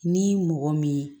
Ni mɔgɔ min